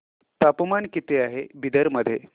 तापमान किती आहे बिदर मध्ये